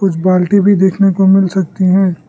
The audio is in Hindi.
कुछ बाल्टी भी देखने को मिल सकती हैं।